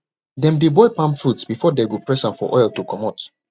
dem dey boil palm fruits before dey go press am for oil to comot